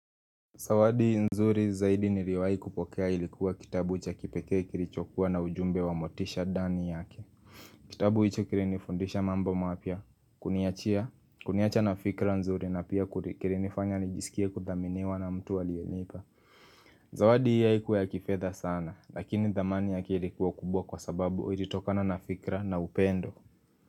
Zawadi nzuri zaidi niliyowahi kupokea ilikuwa kitabu cha kipekee kilichokuwa na ujumbe wa motisha ndani yake. Kitabu hicho kilinifundisha mambo mapya kuniachia, kuniacha na fikra nzuri na pia kilinifanya nijisikie kuthaminiwa na mtu aliyenipa. Zawadi hiyo haikuwa ya kifedha sana, lakini thamani yake ilikuwa kubwa kwa sababu ilitokana na fikra na upendo.